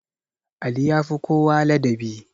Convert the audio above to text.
Ali yafi kowa ladabi